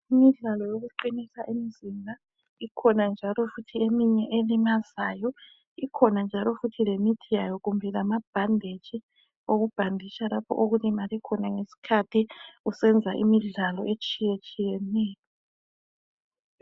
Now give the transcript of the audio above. Imidlalo yokuqinisa imizimba ikhona futhi njalo eminye elimazayo ikhona futhi njalo lemithi yayo kumbe lama bhanditshi okubhanditsha lapho olimele khona ngesikhathi ysenza imidlalo etshiya tshiyeneyo